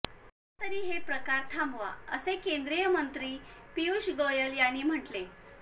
आता तरी हे प्रकार थांबवा असे केंद्रीय मंत्री पीयूष गोयल यांनी म्हटले